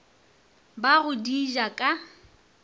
ba go di ja ka